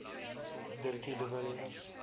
dirkie de villiers